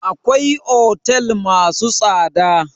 Akwai otel masu tsada